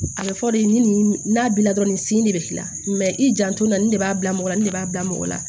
A bɛ fɔ de ni n'a bila dɔrɔn nin sen de bɛ k'i la i janto nin de b'a bila mɔgɔ la nin de b'a bila mɔgɔ la